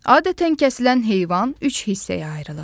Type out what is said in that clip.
Adətən kəsilən heyvan üç hissəyə ayrılır.